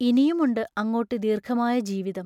ഇനിയുമുണ്ട് അങ്ങോട്ടു ദീർഘമായ ജീവിതം.